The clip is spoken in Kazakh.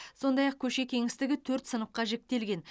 сондай ақ көше кеңістігін төрт сыныпқа жіктелген